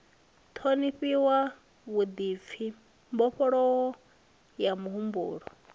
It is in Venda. ṱhonifhiwa vhuḓipfi mbofholowo ya muhumbulo